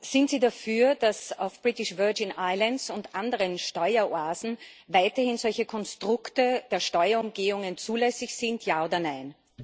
Sind Sie dafür, dass auf den Britischen Jungferninseln und in anderen Steueroasen weiterhin solche Konstrukte der Steuerumgehungen zulässig sind, Ja oder Nein?